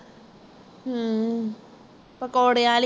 ਹਮ ਪਕੌੜੇ ਵਾਲੀ